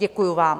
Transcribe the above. Děkuji vám.